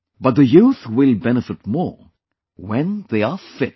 But the youth will benefit more, when they are fit